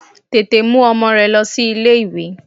Tètè mú ọmọ rẹ lọ sí ilé ìwé!